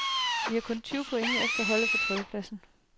Vi er kun tyve point efter holdet på tredje pladsen.